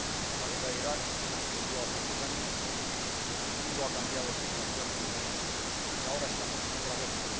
La guerra de Irak transcurrió hace diez años, el mundo ha cambiado sustancialmente y ahora estamos en otra guerra.